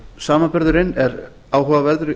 samanburðurinn er áhugaverður